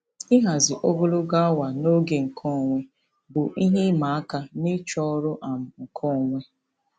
Ịhazi ogologo awa na oge nkeonwe bụ ihe ịma aka n'ịchọ ọrụ um nkeonwe.